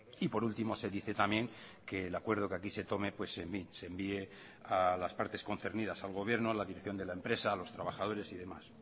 y por último se dice también que el acuerdo que aquí se tome se envíe a las partes concernidas al gobierno a la dirección de la empresa a los trabajadores y demás